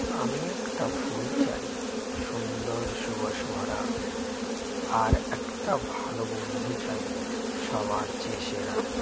আমি একটা ফুল চাই সুন্দর সুবাসে ভরা আর একটা ভালো বন্ধু চাই সবার চেয়ে সেরা